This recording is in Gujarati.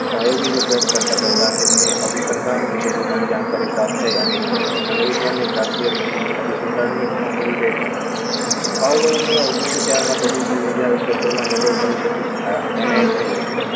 પ્રાયોગિક અભ્યાસ કરતા કરતા તેમને અભિસધાન જાણકારી પ્રાપ્ત થઈ અને મનોવિજ્ઞાનને શાસ્ત્રીય વિશિષ્ટ અભિસરણની મહાબલી ભેટ આવલોની અભિષેક ભાવલોની ઓગણીસો ચાર માં તેમની તબીબી આવશ્યક નોબીલ શરીર પર એને જ થયું હતું